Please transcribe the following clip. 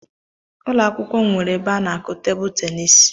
Ụlọ akwụkwọ m nwere ebe a n'akụ tebụl tenisi